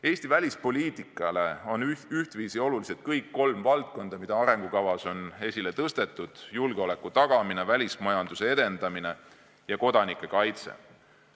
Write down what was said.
Eesti välispoliitikale on ühtviisi olulised kõik kolm valdkonda, mis arengukavas on esile tõstetud: julgeoleku tagamine, välismajanduse edendamine ja kodanike kaitse.